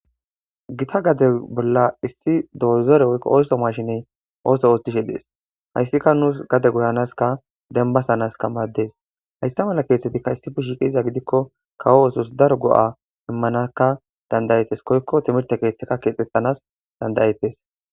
Gita gade bolla issi doozore woyko ootho mashiney ootho oothishe de'ees. Haydsika nuus gade goyanasika dembasanas maadees. Haysa mala keethatika issi bolla shiiqizayssa gidiko kawo oothos daro go'a immanas danda'eetes. Koyiko timirte keethata keexetanas danda'eetees.